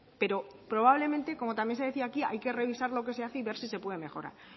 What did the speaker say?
pero probablemente como también se decía aquí hay que revisar lo que se hace y ver si se puede mejorar